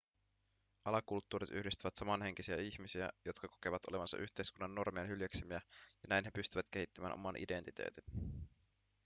alakulttuurit yhdistävät samanhenkisiä ihmisiä jotka kokevat olevansa yhteiskunnan normien hyljeksimiä ja näin he pystyvät kehittämään oman identiteetin